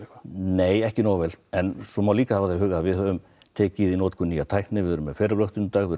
nei ekki nógu vel en svo má líka hafa það í huga að við höfum tekið í notkun nýja tækni við erum með